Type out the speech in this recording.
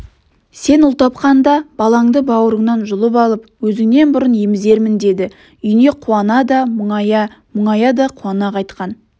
сен ұл тапқанда балаңды бауырыңнан жұлып алып өзіңнен бұрын емізермін деді үйіне қуана да мұңая мұңая да қуана қайтқан